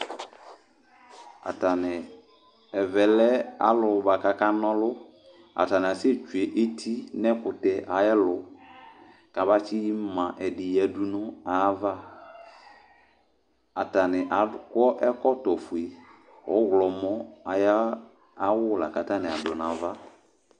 Ataniɩ ɛvɛ lɛ alʋ bua k'akan'ɔlʋ Atanɩ asɛtdue eti n'ɛkʋtɛ ayɛlʋ kabatsɩma ɛkʋtɛ ɛdɩ yǝdʋ n'ayava, atanɩ akɔ ɛkɔtɔ fue, ɔɣlɔmɔ ayʋ awʋ lak'atanɩ adʋ n'ava